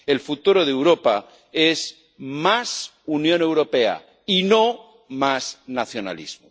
El futuro de Europa es más Unión Europea y no más nacionalismo.